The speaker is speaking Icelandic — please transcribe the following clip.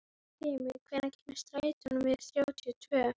Grímey, hvenær kemur strætó númer þrjátíu og tvö?